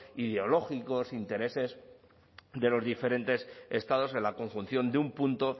ideológicos intereses de los diferentes estados de la conjunción de un punto